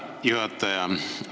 Tänan, juhataja!